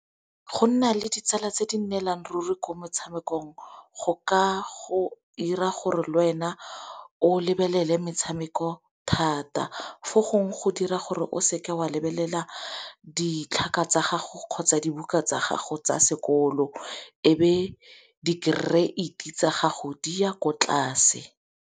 Go nna le ditsala tse di nnelang ruri ko metshamekong, go ka go 'ira gore le wena o lebelele metshameko thata. Fo gongwe go dira gore o seke o a lebelela ditlhaka tsa gago kgotsa dibuka tsa gago tsa sekolo, ebe dikereiti gago di ya ko tlase.